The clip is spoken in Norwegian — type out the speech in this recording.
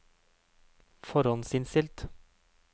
forhåndsinnstilt